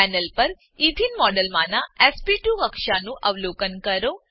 panel પર એથેને મોડેલમાંનાં એસપી2 કક્ષાનું અવલોકન કરો